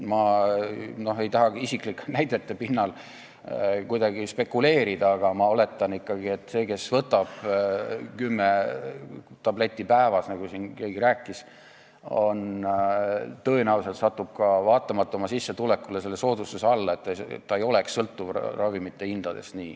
Ma ei taha isiklike näidete pinnal kuidagi spekuleerida, aga ma oletan, et inimene, kes võtab kümme tabletti päevas, nagu siin keegi rääkis, tõenäoliselt saab ka oma sissetuleku juures seda soodustust, et ta ei sõltuks ravimite hindadest.